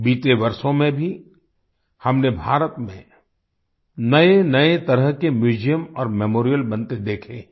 बीते वर्षों में भी हमने भारत में नएनए तरह के म्यूजियम और मेमोरियल बनते देखे हैं